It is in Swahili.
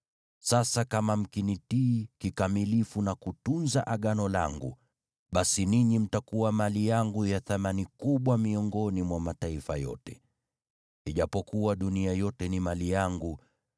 Sasa kama mkinitii kikamilifu na kutunza Agano langu, basi ninyi mtakuwa mali yangu ya thamani kubwa miongoni mwa mataifa yote. Ijapokuwa dunia yote ni mali yangu,